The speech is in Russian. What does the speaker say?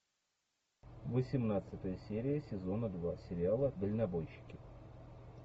восемнадцатая серия сезона два сериала дальнобойщики